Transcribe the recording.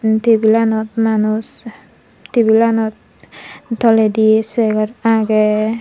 tebolanot manus tebolanot tolendi chegar agey.